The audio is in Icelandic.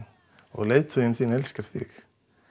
og leiðtoginn elskar þig